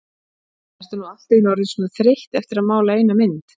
Ertu nú allt í einu orðin svona þreytt eftir að mála eina mynd?